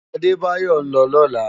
Adebayo n lò lòlá